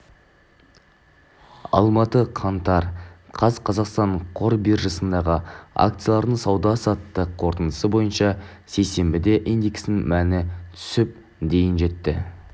алматы қаңтар қаз қазақстан қор биржасындағы акциялардың сауда-саттық қорытындысы бойынша сейсенбіде индексінің мәні түсіп дейін жетті